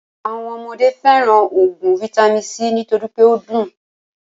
Àwọn ọmọdé fẹràn óògùn vaitami c nítorí pé o dùn.